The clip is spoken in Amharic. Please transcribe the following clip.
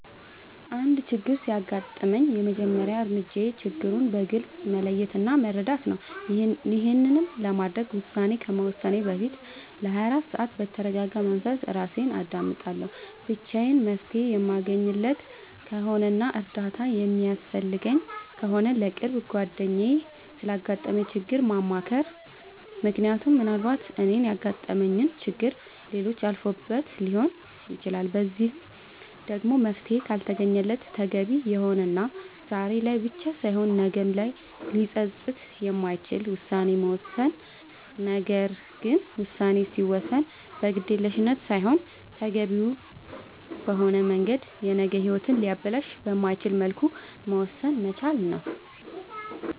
አንድ ችግር ሲያጋጥመኝ የመጀመሪያ እርምጃዬ ችግሩን በግልፅ መለየት እና መረዳት ነዉ ይሄንንም ለማድረግ ውሳኔ ከመወሰኔ በፊት ለ24 ሰዓት በተርጋጋ መንፈስ እራሴን አዳምጣለሁ ብቻዬን መፍትሄ የማለገኝለት ከሆነና እርዳታ የሚያስፈልገኝ ከሆነ ለቅርብ ጓደኛዬ ስላጋጠመኝ ችግር ማማከር ምክንያቱም ምናልባት እኔ ያጋጠመኝን ችግር ሌሎች አልፈውበት ሊሆን ይችላል በዚህም ደግሞ መፍትሄ ካልተገኘለት ተገቢ የሆነና ዛሬ ላይ ብቻ ሳይሆን ነገ ላይም ሊፀፅት የማይችል ውሳኔን መወሰን ነገር ግን ውሳኔ ሲወሰን በግዴለሽነት ሳይሆን ተገቢውን በሆነ መንገድ የነገ ሂወትን ሊያበላሽ በማይችልበት መልኩ መወሰን መቻል ነዉ